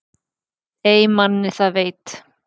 Ey manni það veit